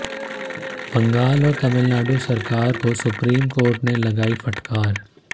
बंगाल और तमिलनाडु सरकार को सुप्रीम ने लगाई फटकार